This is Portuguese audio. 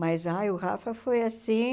Mas ai o Rafa foi assim...